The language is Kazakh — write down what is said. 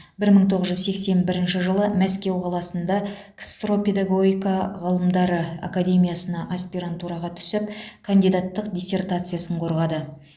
бір мың тоғыз жүз сексен бірінші жылы мәскеу қаласында ксро педагогика ғылымдары академиясына аспирантураға түсіп кандидаттық диссертациясын қорғады